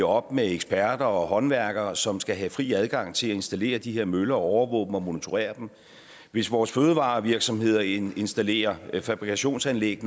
op med eksperter og håndværkere som skal have fri adgang til at installere de her møller og overvåge dem og monitorere dem og hvis vores fødevarevirksomheder installerer fabrikationsanlæg